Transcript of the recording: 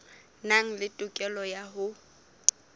nang le tokelo ya ho